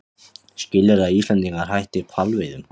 Skilyrði að Íslendingar hætti hvalveiðum